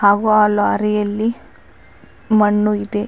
ಹಾಗು ಆ ಲಾರಿಯಲ್ಲಿ ಮಣ್ಣು ಇದೆ.